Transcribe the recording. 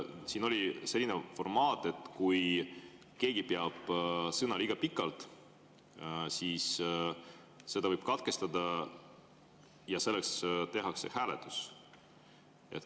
Siin oli selline formaat, et kui keegi liiga pikalt sõna, siis seda võib katkestada ja selleks tehakse hääletus.